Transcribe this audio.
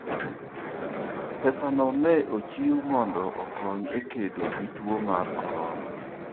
Pesano ne ochiw mondo okony e kedo gi tuo mar corona.